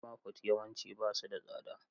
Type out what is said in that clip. Mama fut yawanci ba su da tsada.